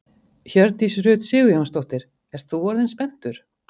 Hjördís Rut Sigurjónsdóttir: Ert þú orðinn spenntur?